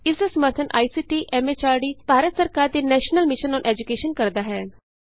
ਇਸ ਦਾ ਸਮਰੱਥਨ ਆਈਸੀਟੀ ਐਮ ਐਚਆਰਡੀ ਭਾਰਤ ਸਰਕਾਰ ਦੇ ਨੈਸ਼ਨਲ ਮਿਸ਼ਨ ਅੋਨ ਏਜੂਕੈਸ਼ਨ ਕਰਦਾ ਹੈ